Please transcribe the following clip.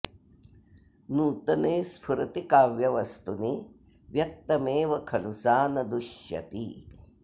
नूतने स्फुरति काव्यवस्तुनि व्यक्तमेव खलु सा न दुष्यति